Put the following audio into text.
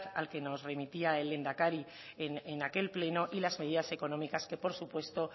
al que nos remitía el lehendakari en aquel pleno y las medidas económicas que por supuesto